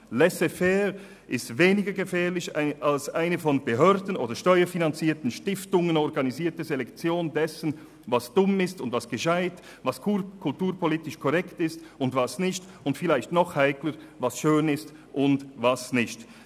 Laisser-faire ist weniger gefährlich als eine von Behörden oder steuerfinanzierten Stiftungen organisierte Selektion dessen, was dumm oder klug, was kulturpolitisch korrekt und – vielleicht noch heikler – was schön ist oder nicht.